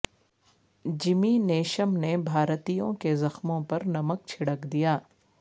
جمی Neesham نے بھارتیوں کے زخموں پر نمک چھڑک دیا